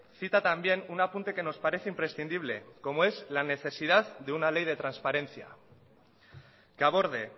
cita también un apunte que nos parece imprescindible como es la necesidad de una ley de transparencia que aborde